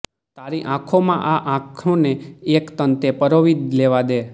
તારી આંખોમાં આ આંખોને એક તંતે પરોવી લેવા દે